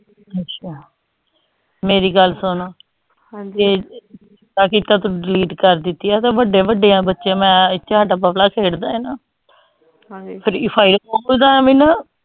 ਅੱਛਾ ਮੇਰੀ ਗੱਲ ਸੁਨ ਏਹ ਚੰਗਾ ਕੀਤਾ ਤੂੰ delete ਕਰ ਦਿਤੀ ਆ ਏਹ ਤਾ ਵੱਡੇ ਵੱਡੇ ਬੱਚਿਆਂ ਨੂੰ ਮੈਂ ਬਬਲਾ ਖੇਡ ਦਾ ਹੈ ਨਾ free fire ਓ ਤਾ ਐਵੇ ਨਾ